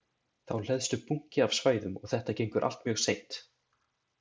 Þá hleðst upp bunki af svæðum og þetta gengur allt mjög seint.